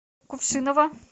кувшиново